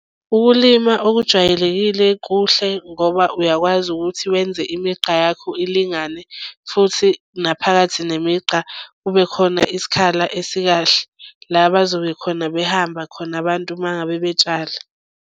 Ukulima okujwayelekile kuhle ngoba uyakwazi ukuthi wenze imigqa yakho ilingane futhi naphakathi nemigqa kube khona isikhala esikahle. La bazobe khona behamba khona abantu uma ngabe betshala.